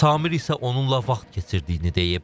Samir isə onunla vaxt keçirdiyini deyib.